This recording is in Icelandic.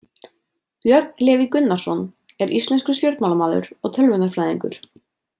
Björn Leví Gunnarsson er íslenskur stjórnmálamaður og tölvunarfræðingur.